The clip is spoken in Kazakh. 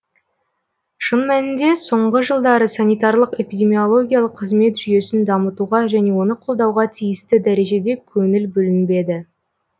шын мәнінде соңғы жылдары санитарлық эпидемиологиялық қызмет жүйесін дамытуға және оны қолдауға тиісті дәрежеде көңіл бөлінбеді